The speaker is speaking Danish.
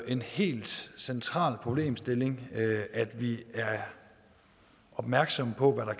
en helt central problemstilling at vi er opmærksomme på